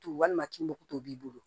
Walima tumu tumu b'i bolo